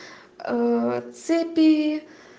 цепи